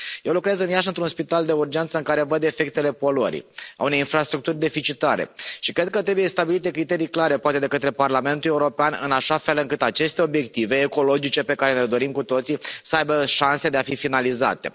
Eu lucrez în Iași într un spital de urgență în care văd efectele poluării, ale unei infrastructuri deficitare, și cred că trebuie stabilite criterii clare, poate de către Parlamentul European, în așa fel încât aceste obiective ecologice, pe care le dorim cu toții, să aibă șanse de a fi finalizate.